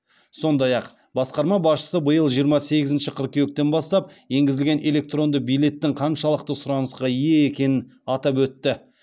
сондай ақ басқарма басшысы биыл жиырма сегізінші қыркүйектен бастап енгізілген электронды билеттің қаншалықты сұранысқа ие екенін атап өтті